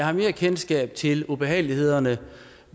har mere kendskab til ubehagelighederne